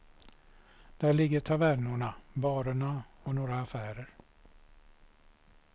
Där ligger tavernorna, barerna och några affärer.